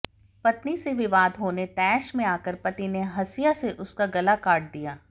पत्नी से विवाद होने तैश में आकर पति ने हसिया से उसका गला काट दिया